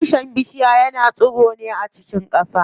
Tushen bishiya yana tsiro ne a cikin ƙasa.